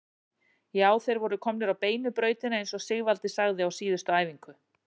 Já, þeir voru komnir á beinu brautina eins og Sigvaldi sagði á síðustu æfingu.